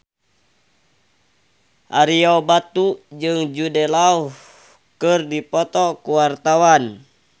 Ario Batu jeung Jude Law keur dipoto ku wartawan